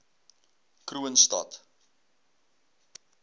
kroonstad